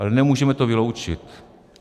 Ale nemůžeme to vyloučit.